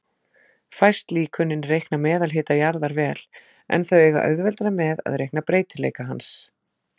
Fæst líkönin reikna meðalhita jarðar vel, en þau eiga auðveldara með að reikna breytileika hans.